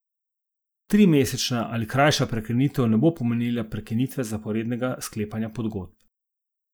Trimesečna ali krajša prekinitev ne bo pomenila prekinitve zaporednega sklepanja pogodb.